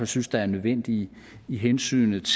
synes er nødvendige hensynet